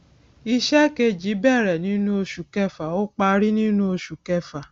iṣẹ kejī bẹrẹ nínú oṣù kẹfà ó parí nínú oṣù kẹfà